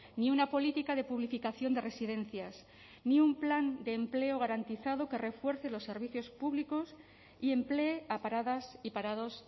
ni una política de publificación de residencias ni un plan de empleo garantizado que refuerce los servicios públicos y emplee a paradas y parados